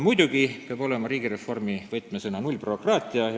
Muidugi peab riigireformi võtmesõna olema nullbürokraatia.